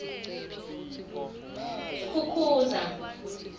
skukuza